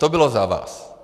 To bylo za vás.